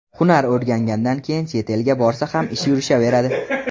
Hunar o‘rgangandan keyin chet elga borsa ham ishi yurishaveradi.